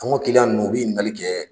An ka kilyan ninnu u bi ɲinigali kɛ